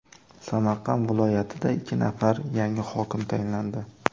Samarqand viloyatida ikki nafar yangi hokim tayinlandi .